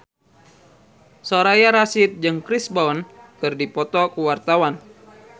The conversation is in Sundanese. Soraya Rasyid jeung Chris Brown keur dipoto ku wartawan